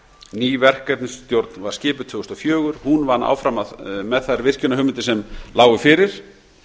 ný verkefnisstjórn var skipuð tvö þúsund og fjögur hún vann áfram með þær virkjunarhugmyndir sem lágu fyrir